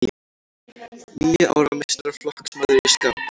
Níu ára meistaraflokksmaður í skák